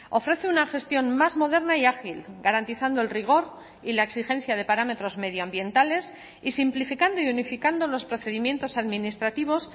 ofrece una gestión más moderna y ágil garantizando el rigor y la exigencia de parámetros medioambientales y simplificando y unificando los procedimientos administrativos